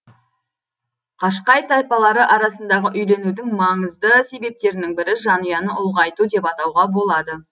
қашқай тайпалары арасындағы үйленудің маңызды себептерінің бірі жанұяны ұлғайту деп атауға болады